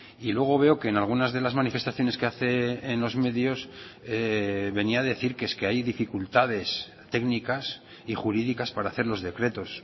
y luego veo que en algunas de las manifestaciones que hace en los medios venía a decir que es que hay dificultades técnicas y jurídicas para hacer los decretos